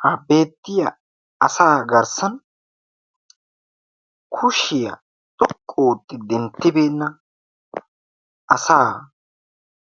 Ha beettiya asaa garssan kushiyaa xoqqu ootti denttibeenna asaa